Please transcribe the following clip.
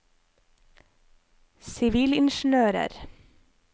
sivilingeniører